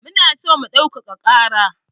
Mu na san mu ɗaukaka ƙara